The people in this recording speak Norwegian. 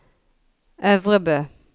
Øvrebø